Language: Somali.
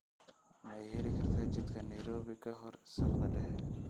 ma ii heli kartaa jidka nairobi ka hor saqda dhexe